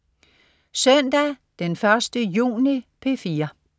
Søndag den 1. juni - P4: